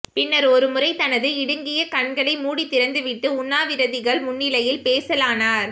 பின்னர் ஒருமுறை தனது இடுங்கிய கண்களை மூடித்திறந்துவிட்டு உண்ணாவிரதிகள் முன்னிலையில் பேசலானார்